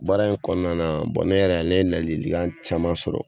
Baara in kɔnɔna bɔn ne yɛrɛ ne ye lalikan caman sɔrɔ